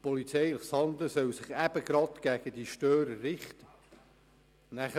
Polizeiliches Verhalten soll sich gegen diese Störer richten.